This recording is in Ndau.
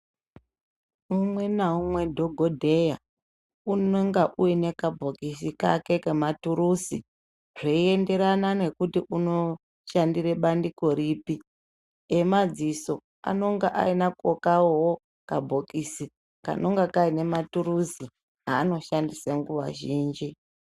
Umwe naumwe dhokodheya unenga uine kabhokisi kake kematuruzi zveienderwna nekuti unoshandire bandiko ripi emadziso anenge ainako kawoo kabhokisi kanenga kaine maturuzi aanodhandisa nguwa zhinji.